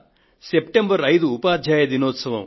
September 5 ఉపాధ్యాయ దినోత్సవం